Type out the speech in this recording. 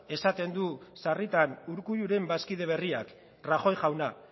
esaten du sarritan urkulluren bazkide berriak rajoy jaunak